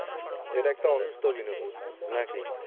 এটা একটা অসুস্থ বিনোদন নাকি?